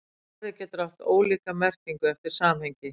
Orðið getur haft ólíka merkingu eftir samhengi.